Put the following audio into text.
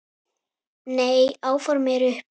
Nei, áform eru uppi